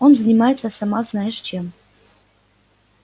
он занимается сама знаешь чем